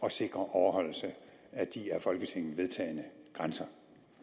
at sikre overholdelse af de af folketinget vedtagne grænser